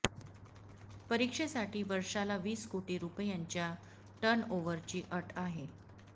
परीक्षेसाठी वर्षाला वीस कोटी रुपयांच्या टर्न ओव्हरची अट आहे